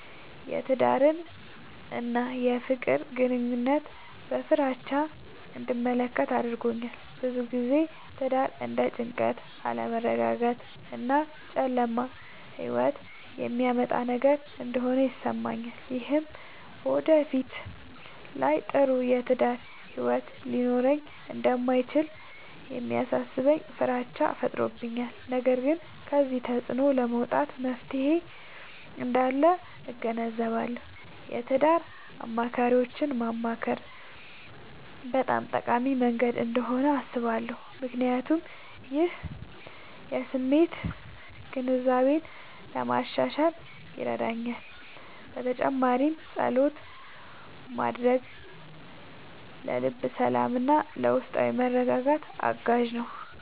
የትዳርን እና የፍቅር ግንኙነትን በፍራቻ እንድመለከት አድርጎኛል። ብዙ ጊዜ ትዳር እንደ ጭንቀት፣ አለመረጋጋት እና ጨለማ ሕይወት የሚያመጣ ነገር እንደሆነ ይሰማኛል። ይህም በወደፊት ላይ ጥሩ የትዳር ሕይወት ሊኖረኝ እንደማይችል የሚያሳስበኝ ፍራቻ ፈጥሮብኛል። ነገር ግን ከዚህ ተፅዕኖ ለመውጣት መፍትሔ እንዳለ እገነዘባለሁ። የትዳር አማካሪዎችን ማማከር በጣም ጠቃሚ መንገድ እንደሆነ አስባለሁ፣ ምክንያቱም ይህ የስሜት ግንዛቤን ለማሻሻል ይረዳል። በተጨማሪም ፀሎት ማድረግ ለልብ ሰላምና ለውስጣዊ መረጋጋት አጋዥ ነው።